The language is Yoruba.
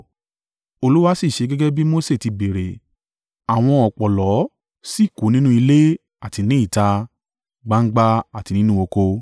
Olúwa sì ṣe gẹ́gẹ́ bí Mose tí béèrè. Àwọn ọ̀pọ̀lọ́ sì kú nínú ilé àti ní ìta, gbangba àti nínú oko.